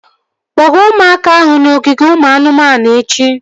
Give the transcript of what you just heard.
Kpọga ụmụaka ahụ n'ogige ụmụ anụmanụ echi!